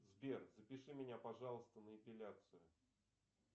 сбер запиши меня пожалуйста на эпиляцию